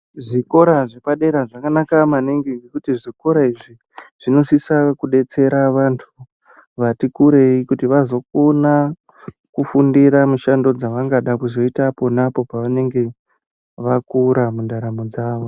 Zvikora zvepadera zvakanaka maningi ngekuti zvikora izvi zvinosisa kudetsera vantu vati kurei kuti vazokona kufundira mushando dzavangada kuzoita ponapo pavanenge vakura mundaramo dzawo.